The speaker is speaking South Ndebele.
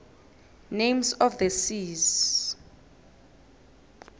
names of the seas